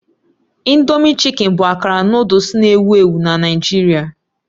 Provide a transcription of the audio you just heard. Indomie chicken bụ akara nụdles na-ewu ewu na Naịjirịa